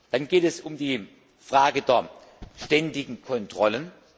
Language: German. Dann geht es um die Frage der ständigen Kontrollen.